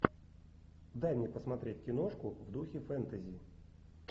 дай мне посмотреть киношку в духе фэнтези